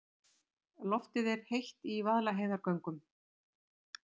Loftið er heitt í Vaðlaheiðargöngum.